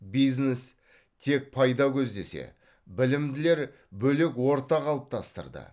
бизнес тек пайда көздесе білімділер бөлек орта қалыптастырды